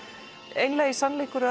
einlægur sannleikur